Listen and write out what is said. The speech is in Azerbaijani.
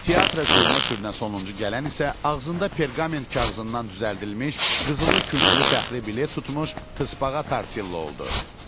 Teatra sürünə-sürünə sonuncu gələn isə ağzında perqament kağızından düzəldilmiş qızılı, künclü fəxri bilet tutmuş tıspaga Tortilla oldu.